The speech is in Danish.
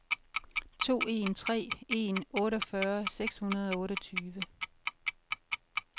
to en tre en otteogfyrre seks hundrede og otteogtyve